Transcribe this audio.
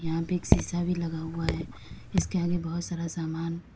यहां पे एक शीशा भी लगा हुआ है इसके आगे बहोत सारा समान--